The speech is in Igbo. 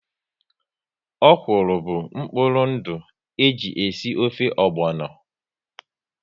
Ọ̀kwụ́rụ́ bụ mkpụrụ ndụ e ji esi ofe ogbono